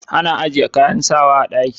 Ana ajiye kayan sawa a ɗaki